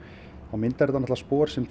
myndar þetta spor sem